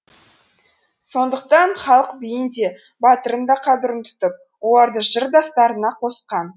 сондықтан халық биін де батырын да қадір тұтып оларды жыр дастандарына қосқан